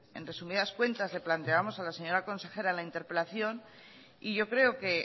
que en resumidas cuentas le planteábamos a la señora consejera en la interpelación y yo creo que